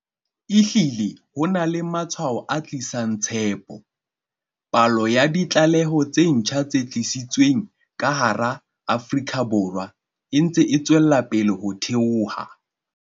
Ehlile ho na le matshwao a tlisang tshepo. Palo ya ditlaleho tse ntjha tse tiiseditsweng ka hara Afrika Borwa e ntse e tswella ho theoha.